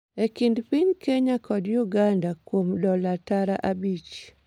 e kind piny Kenya kod piny Uganda kuom dola tara abich